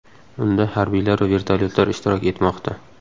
Unda harbiylar va vertolyotlar ishtirok etmoqda.